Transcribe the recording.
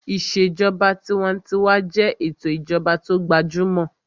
Ìṣèjọba tinwatinwa jẹ́ ètò ìjọba tó gbajúmọ̀